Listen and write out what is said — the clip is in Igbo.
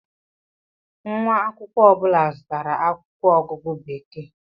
Nwa akwụkwọ ọ bụla zụtara akwụkwọ ọgụgụ Bekee.